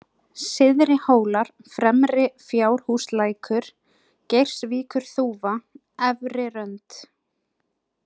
Syðrihólar, Fremri-Fjárhúslækur, Geirsvíkurþúfa, Efrirönd